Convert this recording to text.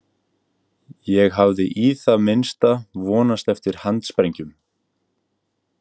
Ég hafði í það minnsta vonast eftir handsprengjum.